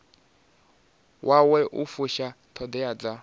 wawe u fusha ṱhoḓea dza